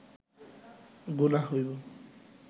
গুনাহ হইব